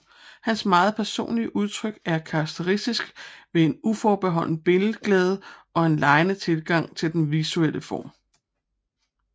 Hans meget personlige udtryk er karakteristisk ved en uforbeholden billedglæde og en legende tilgang til den visuelle form